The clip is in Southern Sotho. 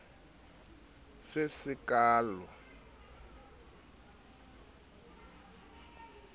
se sekaale ha e le